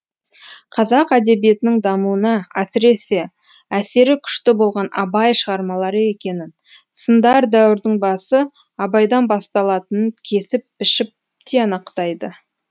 қазақ әдебиетінің дамуына әсіресе әсері күшті болған абай шығармалары екенін сындар дәуірдің басы абайдан басталатынын кесіп пішіп тиянақтайды